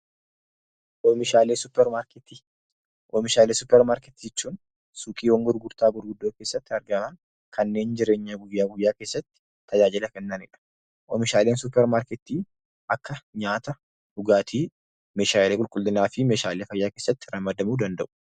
Oomishaalee suuqiiwwan gurgurtaa gurguddoo keessatti argaman kanneen jireenya guyyaa guyyaa keessatti tajaajila kennanidha. Oomishaaleen suuparmaarketii akka nyaata, dhugaatii, meeshaalee qulqullinaa fi meeshaalee fayyaa keessatti ramadamuu danda'u.